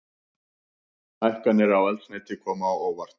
Hækkanir á eldsneyti koma á óvart